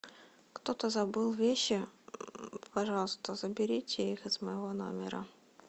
кто то забыл вещи пожалуйста заберите их из моего номера